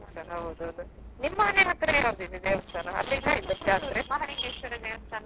ಹೌದಾ ಅದೇ ದೂರ ಆಗ್ತದಲ್ಲ ಬರ್ಲಿಕ್ಕೆ ಹೌದೌದ್ ನಿಮ್ಮ ಮನೆ ಹತ್ರ ಯಾವ್ದಿದೆ ದೇವಸ್ಥಾನ ಅಲ್ಲಿ ಎಲ್ಲ ಇಲ್ವಾ ಜಾತ್ರೆ?